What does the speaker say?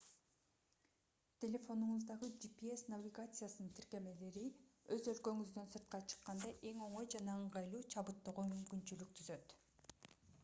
телефонуңуздагы gps навигациясынын тиркемелери өз өлкөңүздөн сыртка чыкканда эң оңой жана ыңгайлуу чабыттоого мүмкүнчүлүк түзөт